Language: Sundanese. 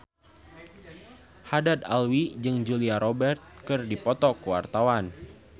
Haddad Alwi jeung Julia Robert keur dipoto ku wartawan